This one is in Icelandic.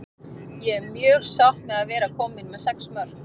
Ég er mjög sátt með að vera komin með sex mörk.